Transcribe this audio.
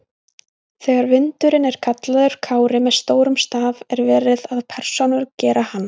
Þegar vindurinn er kallaður Kári með stórum staf er verið að persónugera hann.